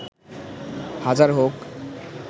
হাজার হোক